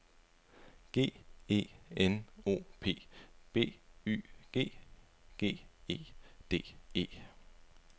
G E N O P B Y G G E D E